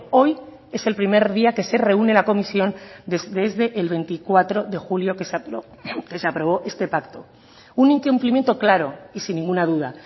hoy es el primer día que se reúne la comisión desde el veinticuatro de julio que se aprobó este pacto un incumplimiento claro y sin ninguna duda